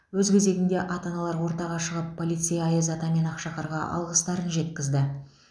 өз кезегінде ата аналар ортаға шығып полицей аяз ата мен ақшақарға алғыстарын жеткізді